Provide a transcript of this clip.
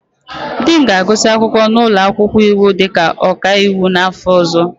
Di m ga-agụsị akwụkwọ n'ụlọ akwụkwọ iwu dịka ọkaiwu n'afọ ọzọ.